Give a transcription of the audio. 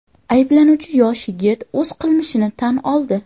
Ayblanuvchi yosh yigit o‘z qilmishini tan oldi.